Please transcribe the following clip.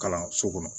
Kalanso kɔnɔ